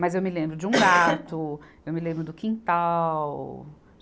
Mas eu me lembro de um gato, eu me lembro do quintal.